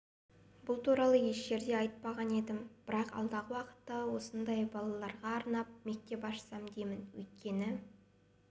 бұл туралы еш жерде айтпаған едім бірақ алдағы уақытта сондай балаларға арнап мектеп ашсам деймін өйткені